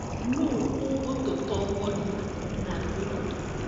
Nũũ ũgũtũtongoria na rwĩmbo?